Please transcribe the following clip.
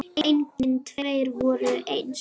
Engir tveir voru eins.